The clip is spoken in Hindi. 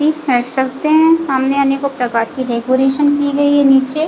फेंक सकते है सामने अनेकों प्रकार की डेकोरेशन की गई है नीचे --